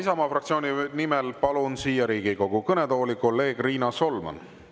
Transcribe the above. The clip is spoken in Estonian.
Isamaa fraktsiooni nimel palun siia Riigikogu kõnetooli kolleeg Riina Solmani.